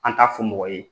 An t'a fɔ mɔgɔ ye